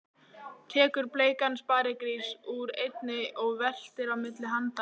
Tekur bleikan sparigrís úr einni og veltir á milli handanna.